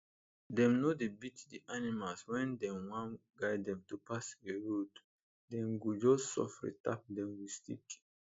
dem no dey beat d animals when dem wan guide them to pass a road dem go just sofri tap dem with stick